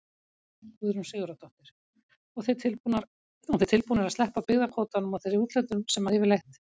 Guðrún Sigurðardóttir: Og þið tilbúnir að sleppa byggðakvótanum og þeirri úthlutun sem að yfirleitt?